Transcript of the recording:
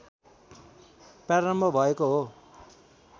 प्रारम्भ भएको हो